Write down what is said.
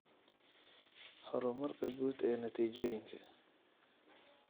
Horumarka guud ee natiijooyinka.